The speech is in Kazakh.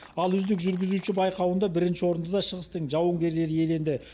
ал үздік жүргізуші байқауында бірінші орынды да шығыстың жауынгерлері иеленді